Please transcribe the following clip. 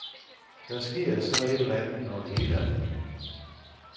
Der sker så et eller andet, når det hele er forbi.